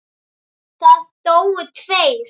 Það dóu tveir.